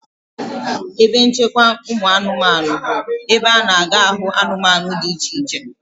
Ebe nchekwa ụmụanụmanụ bụ ebe a na-aga ahụ ụmụanụmanụ dị iche iche.